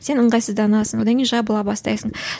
сен ыңғайсызданасың одан кейін жабыла бастайсың